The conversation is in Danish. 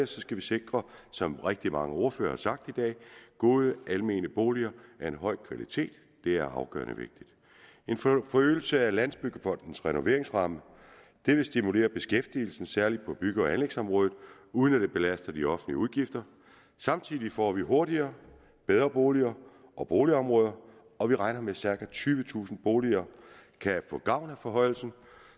skal sikre som rigtig mange ordførere har sagt i dag gode almene boliger af høj kvalitet det er afgørende vigtigt en forøgelse af landsbyggefondens renoveringsramme vil stimulere beskæftigelsen særlig på bygge og anlægsområdet uden at det belaster de offentlige udgifter samtidig får vi hurtigere bedre boliger og boligområder og vi regner med at cirka tyvetusind boliger kan få gavn af forhøjelsen